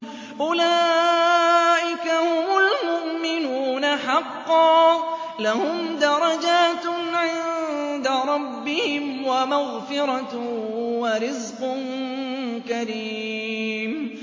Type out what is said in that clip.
أُولَٰئِكَ هُمُ الْمُؤْمِنُونَ حَقًّا ۚ لَّهُمْ دَرَجَاتٌ عِندَ رَبِّهِمْ وَمَغْفِرَةٌ وَرِزْقٌ كَرِيمٌ